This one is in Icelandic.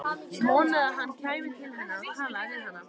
Vonaði að hann kæmi til hennar og talaði við hana.